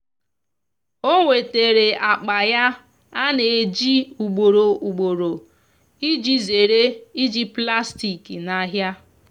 o nwetara akpa ya ana eji ugboro ugboro iji zere iji plastik na ahia